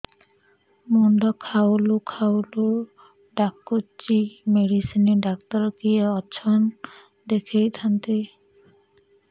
ମୁଣ୍ଡ ଖାଉଲ୍ ଖାଉଲ୍ ଡାକୁଚି ମେଡିସିନ ଡାକ୍ତର କିଏ ଅଛନ୍ ଦେଖେଇ ଥାନ୍ତି